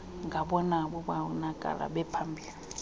ngabona babonakala bephambili